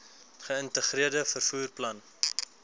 geïntegreerde vervoer plan